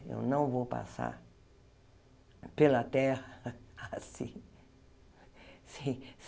Eu não vou passar pela Terra assim. Sem